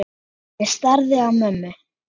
Ég starði á mömmu.